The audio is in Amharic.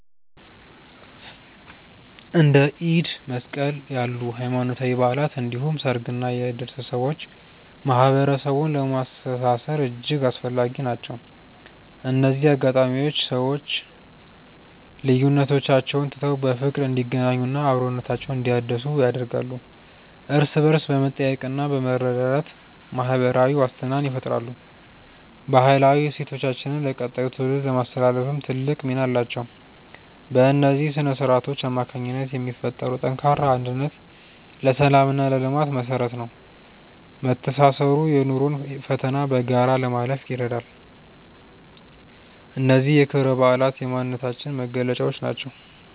እንደ ኢድ እና መስቀል ያሉ ሃይማኖታዊ በዓላት እንዲሁም ሰርግና የእድር ስብሰባዎች ማህበረሰቡን ለማስተሳሰር እጅግ አስፈላጊ ናቸው። እነዚህ አጋጣሚዎች ሰዎች ልዩነቶቻቸውን ትተው በፍቅር እንዲገናኙና አብሮነታቸውን እንዲያድሱ ያደርጋሉ። እርስ በእርስ በመጠያየቅና በመረዳዳት ማህበራዊ ዋስትናን ይፈጥራሉ። ባህላዊ እሴቶቻችንን ለቀጣዩ ትውልድ ለማስተላለፍም ትልቅ ሚና አላቸው። በእነዚህ ስነ-ስርዓቶች አማካኝነት የሚፈጠረው ጠንካራ አንድነት ለሰላምና ለልማት መሰረት ነው። መተሳሰሩ የኑሮን ፈተና በጋራ ለማለፍ ይረዳል። እነዚህ ክብረ በዓላት የማንነታችን መገለጫዎች ናቸው።